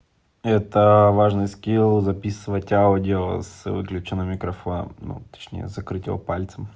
это важный скилл записывать аудио с выключенным микрофоном ну точнее закрыть его пальцем